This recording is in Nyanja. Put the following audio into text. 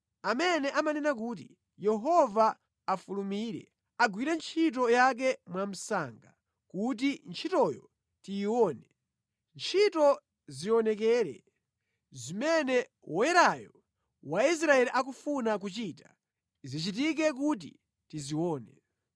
amene amanena kuti, “Yehova afulumire, agwire ntchito yake mwamsanga kuti ntchitoyo tiyione. Ntchito zionekere, zimene Woyerayo wa Israeli akufuna kuchita, zichitike kuti tizione.”